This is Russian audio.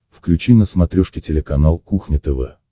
включи на смотрешке телеканал кухня тв